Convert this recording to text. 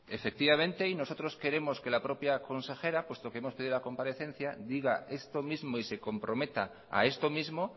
efectivamente y nosotros queremos que la propia consejera puesto que hemos pedido la comparecencia diga esto mismo y se comprometa a esto mismo